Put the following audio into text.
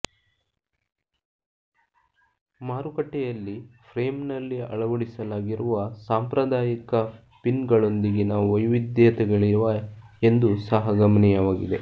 ಮಾರುಕಟ್ಟೆಯಲ್ಲಿ ಫ್ರೇಮ್ನಲ್ಲಿ ಅಳವಡಿಸಲಾಗಿರುವ ಸಾಂಪ್ರದಾಯಿಕ ಪಿನ್ಗಳೊಂದಿಗಿನ ವೈವಿಧ್ಯತೆಗಳಿವೆ ಎಂದು ಸಹ ಗಮನೀಯವಾಗಿದೆ